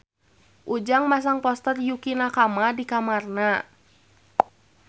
Ujang masang poster Yukie Nakama di kamarna